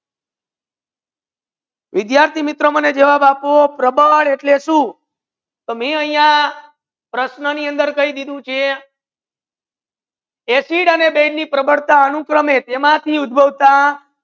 વિદ્યાર્થિ મિત્રો મને જવાબ આપો પ્રબળ એટલી સુ તો માઇ આહિયા પ્રશ્ના ની અંદર કહી દિધુ છે એસિડ અને બેઝ ની પ્રબળતા અનુક્રમે તે મથી ઉદ્ભોગતા